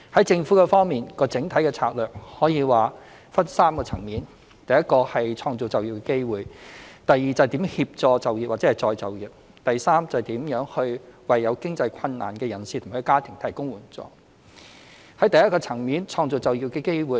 政府方面，整體的策略可說是分為3個層面：一創造就業機會；二如何協助就業或再就業；及三如何為有經濟困難的人士及家庭提供援助。在第一個層面，創造就業機會。